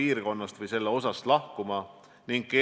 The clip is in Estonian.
Kas Eestil on need hinnangud tehtud?